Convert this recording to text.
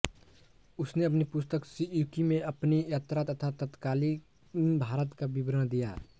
उसने अपनी पुस्तक सीयूकी में अपनी यात्रा तथा तत्कालीन भारत का विवरण दिया है